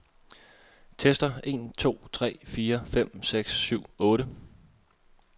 Tester en to tre fire fem seks syv otte.